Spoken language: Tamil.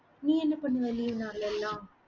நீ என்ன பண்ணுவ leave நாளெல்லாம்?